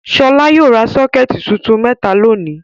Ṣọlá yóò ra sọ́kẹ́tì tuntun mẹ́ta lónìí.